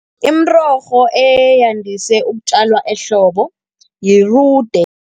Imirorho eyandise ukutjalwa ehlobo yirude.